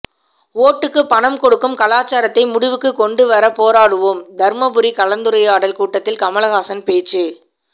ஓட்டுக்கு பணம் கொடுக்கும் கலாசாரத்தை முடிவுக்கு கொண்டு வர போராடுவோம் தர்மபுரி கலந்துரையாடல் கூட்டத்தில் கமல்ஹாசன் பேச்சு